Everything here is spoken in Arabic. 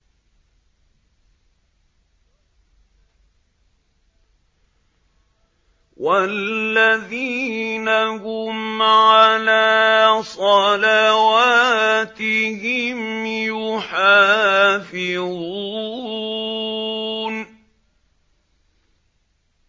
وَالَّذِينَ هُمْ عَلَىٰ صَلَوَاتِهِمْ يُحَافِظُونَ